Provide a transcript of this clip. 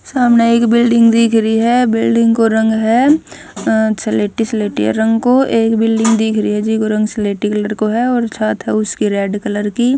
सामणह एक बिल्डिंग दिख री हबिल्डिंग को रंग ह अ स्लेटी स्लेटिया रंग को एक बिल्डिंग दिख री ह जिको रंग स्लेटी कलर को ह और छात ह उसकी रेड कलर की ।